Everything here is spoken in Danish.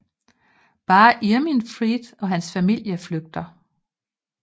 Bare Irminfrid og hans familie flygter